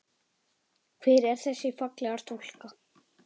Hver er þessi fallega stúlka?